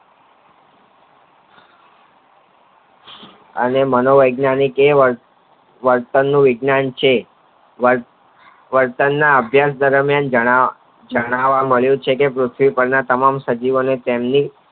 આનો માનો વૈજ્ઞાનિક કહેવાય વર્તન નું વિજ્ઞાન છે વર્તન ના અભ્યાસ દરમિયાન જાણવા મળ્યું છે કે પૃથ્વી પર ના તમામ સજીવ તેમની